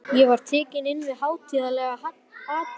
Ég var tekinn inn við hátíðlega athöfn.